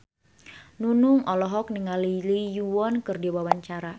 Nunung olohok ningali Lee Yo Won keur diwawancara